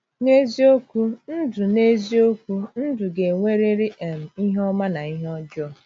N’eziokwu, ndụ N’eziokwu, ndụ ga-enwerịrị um ihe ọma na ihe ọjọọ.